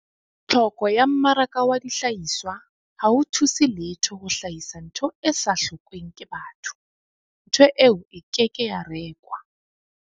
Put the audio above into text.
Tlhoko ya mmaraka wa dihlahiswa ha ho thuse letho ho hlahisa ntho e sa hlokweng ke batho, ntho eo e ke ke ya rekwa.